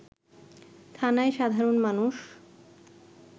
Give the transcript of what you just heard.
থানায় সাধারণ মানুষ